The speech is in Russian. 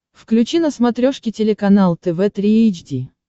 включи на смотрешке телеканал тв три эйч ди